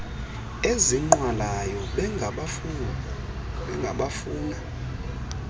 ezinqwalayo benga bafuna